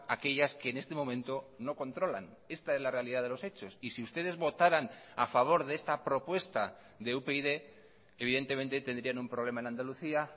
aquellas que en este momento no controlan esta es la realidad de los hechos y si ustedes votaran a favor de esta propuesta de upyd evidentemente tendrían un problema en andalucía